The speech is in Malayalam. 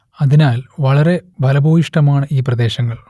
അതിനാൽ വളരെ ഫലഭൂയിഷ്ടമാണ് ഈ പ്രദേശങ്ങൾ